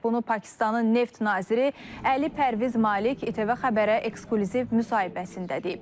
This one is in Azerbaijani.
Bunu Pakistanın neft naziri Əli Pərviz Malik ATV Xəbərə eksklüziv müsahibəsində deyib.